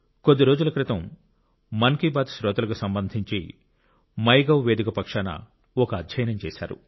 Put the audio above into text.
కొద్ది రోజుల క్రితం మన్ కి బాత్ శ్రోతలకు సంబంధించి మైగవ్ వేదిక పక్షాన ఒక అధ్యయనం చేశారు